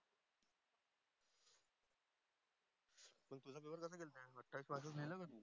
त्यात पासिंग आहे ना मग.